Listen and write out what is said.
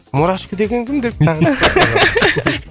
мурашка деген кім деп тағы да